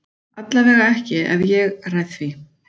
Allavega ekki ef ég ræð því.